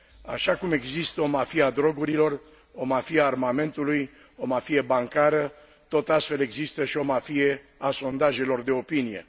Așa cum există o mafie a drogurilor, o mafie a armamentului, o mafie bancară, tot astfel există și o mafie a sondajelor de opinie.